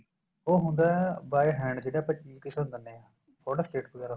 ਉਹ ਹੁੰਦਾ by hand ਜਿਹੜਾ ਆਪਾਂ ਕਿਸੇ ਨੂੰ ਦੇਨੇ ਆ photo state ਵਗੈਰਾ